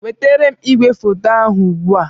Wetara m igwefoto ahụ ugbu a!